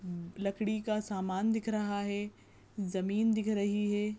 लकड़ी का सामान दिख रहा है ज़मीं दिख रही है।